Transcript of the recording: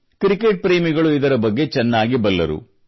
cricket ಪ್ರೇಮಿಗಳು ಇದರ ಬಗ್ಗೆ ಚೆನ್ನಾಗಿ ಬಲ್ಲರು